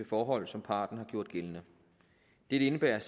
forhold som parten har gjort gældende det indebærer at